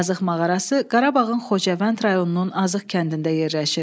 Azıq mağarası Qarabağın Xocavənd rayonunun Azıq kəndində yerləşir.